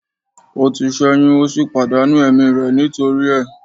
O ti ṣẹyun o si pàdánù ẹ̀mí rẹ̀ nítorí ẹ̀